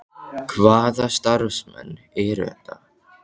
Hvaða starfsmenn eru þetta?